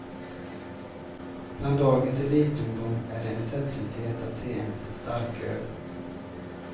Bland dagens elitungdom är det en sällsynthet att se ens en starköl.